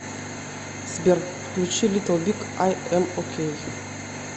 сбер включи литл биг ай эм окей